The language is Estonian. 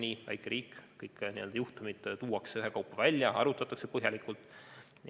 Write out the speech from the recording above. Meil on väike riik, kõik juhtumid tuuakse ühekaupa välja ja arutatakse põhjalikult läbi.